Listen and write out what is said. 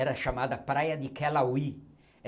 Era chamada Praia de Kelawi.